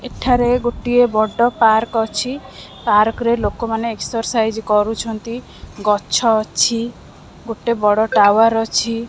ଏଠାରେ ଗୋଟିଏ ବଡ଼ ପାର୍କ ଅଛି। ପାର୍କ ରେ ଲୋକମାନେ ଏକ୍ସରସାଇଜ୍ କରୁଛନ୍ତି ଗଛ ଅଛି ଗୋଟେ ବଡ ଟାୱାର ଅଛି।